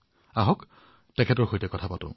আহক তেওঁৰ সৈতে কথা পাতো